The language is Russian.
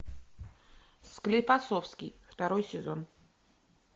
склифосовский второй сезон